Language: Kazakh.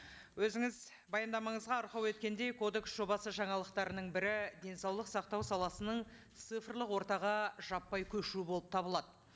өзіңіз баяндамаңызға арқау еткендей кодекс жобасы жаңалықтарының бірі денсаулық сақтау саласының цифрлық ортаға жаппай көшу болып табылады